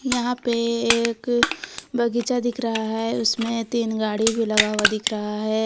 यहां पे एक बगीचा दिख रहा है उसमें तीन गाड़ी भी लगा हुआ दिख रहा है।